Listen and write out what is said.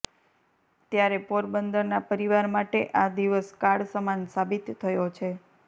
ત્યારે પોરબંદરના પરિવાર માટે આ દિવસ કાળ સમાન સાબિત થયો છે